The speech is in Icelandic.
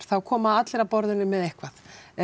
þá koma allir að borðinu með eitthvað